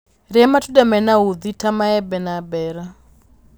rĩa matunda mena uthi ta maembe na mbeera